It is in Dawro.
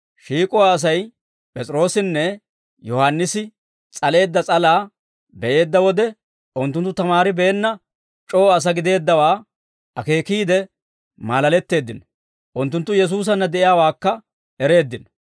Shiik'uwaa Asay P'es'iroossinne Yohaannisi s'aleedda s'alaa be'eedda wode, unttunttu tamaaribeenna c'oo asaa gideeddawaa akeekiide maalaletteeddino; unttunttu Yesuusanna de'iyaawaakka ereeddino.